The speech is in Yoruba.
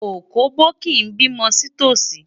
Òkóbó kì í bímọ sí tòsí.